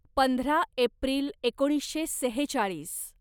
पंधरा एप्रिल एकोणीसशे सेहेचाळीस